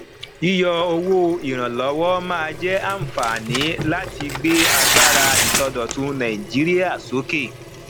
yíyọ owó ìrànlọwọ máa jẹ àǹfààní láti gbé agbára ìsọdọtun nàìjíríà sókè